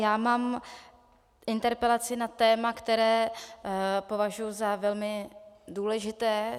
Já mám interpelaci na téma, které považuji za velmi důležité.